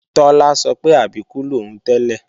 Tọ́lá sọ pé Àbíkú lòún tẹ́lẹ̀